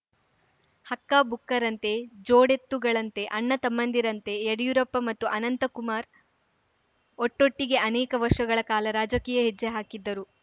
ಹಕ್ಕ ಬುಕ್ಕರಂತೆ ಜೋಡೆತ್ತುಗಳಂತೆ ಅಣ್ಣ ತಮ್ಮಂದಿರಂತೆ ಯಡಿಯೂರಪ್ಪ ಮತ್ತು ಅನಂತಕುಮಾರ್‌ ಒಟ್ಟೊಟ್ಟಿಗೇ ಅನೇಕ ವರ್ಷಗಳ ಕಾಲ ರಾಜಕೀಯ ಹೆಜ್ಜೆ ಹಾಕಿದ್ದರು